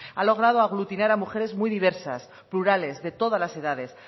ha logrado aglutinar a mujeres muy diversas plurales de todas las edades